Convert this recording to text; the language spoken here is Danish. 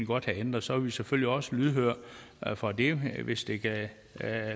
godt have ændret og så er vi selvfølgelig også lydhør for det hvis det kan